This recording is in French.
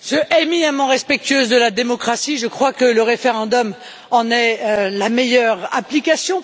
Je suis éminemment respectueuse de la démocratie, je crois que le référendum en est la meilleure application.